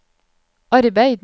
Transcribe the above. arbeid